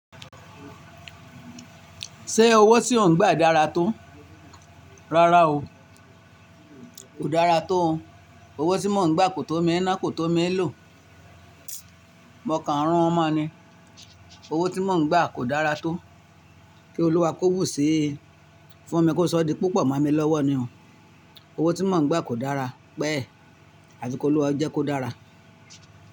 Ṣé owó tí ò ń gbà dára tó? Rárá o. Kò dára tó. Owó tí mò ń gbà kò tó mi ná, kò tó mi lò. Mo kà ń run mọ ni. Owó tí mò ń gbà kò dára tó. Kí Olúwa kóbù sí i fún mi kó sọ́ di púpò mó mi lọ́wọ́ ni o. Owó tí mò ń gbà kò dára. Pẹ́, àfi kí Olúwa jẹ́ kó dára.